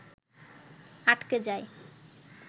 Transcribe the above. আটকে যায়